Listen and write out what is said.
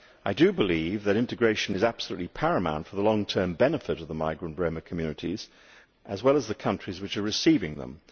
I do believe that integration is absolutely paramount for the long term benefit of the migrant Roma communities, as well as the countries which are receiving them.